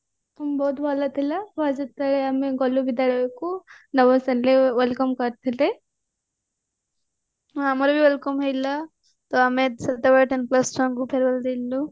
ବହୁତ ଭଲ ଥିଲା first ଯେତେବେଳେ ଆମେ ଗଲୁ ବିଦ୍ୟାଳୟକୁ ଆମକୁ welcome କରିଥିଲେ ହଁ ଆମର ବି welcome ହେଇଥିଲା ତ ଆମେ ସେତେବେଳେ ten class ଛୁଆଙ୍କୁ farwell ଦେଇଥିଲୁ